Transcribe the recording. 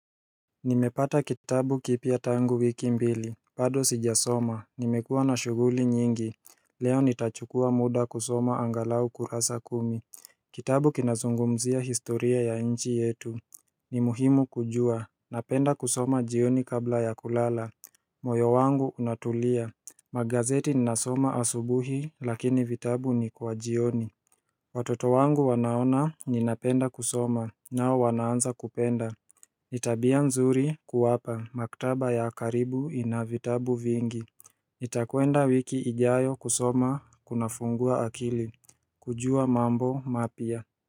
Nimepata kitabu kipya tangu wiki mbili, bado sijasoma, nimekuwa na shughuli nyingi Leo nitachukua muda kusoma angalau kurasa kumi Kitabu kinazungumzia historia ya nchi yetu Nimuhimu kujua, napenda kusoma jioni kabla ya kulala moyo wangu unatulia, magazeti ninasoma asubuhi lakini vitabu ni kwa jioni Watoto wangu wanaona ninapenda kusoma, nao wanaanza kupenda nI tabia nzuri kuwapa, maktaba ya karibu inavitabu vingi nItakwenda wiki ijayo kusoma kuna fungua akili, kujua mambo mapya.